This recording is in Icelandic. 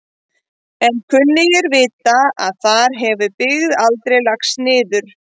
En kunnugir vita að þar hefur byggð aldrei lagst niður.